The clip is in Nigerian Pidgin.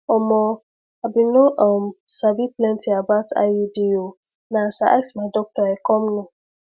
omo i bin no um sabi plenty about iud o na as i ask my doctor i come know